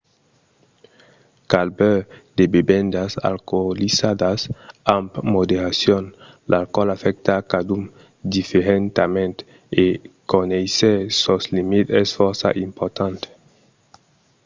cal beure de bevendas alcoolizadas amb moderacion. l'alcoòl afècta cadun diferentament e conéisser sos limits es fòrça important